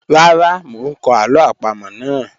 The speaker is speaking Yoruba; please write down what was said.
Rara, mo n kọ alo apamo naa.